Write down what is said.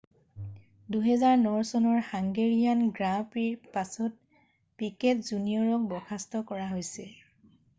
2009 চনৰ হাংগেৰিয়ান গ্ৰাঁ প্ৰিৰ পাছত পিকেট জুনিয়ৰক বৰ্খাস্ত কৰা হৈছে